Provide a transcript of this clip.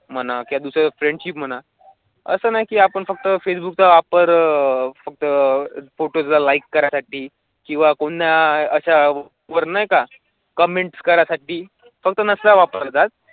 असं नाही आपण फक्त फेसबुकचा वापर फक्त फोटोला लाइक करासाठी किंवा कोणा असावर नाही का? कॉमेन्ट करासाठी होता वापरतात.